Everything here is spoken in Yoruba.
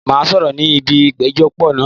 Màá sọ̀rọ̀ ní ibi ìpéjọ pọ̀ náà.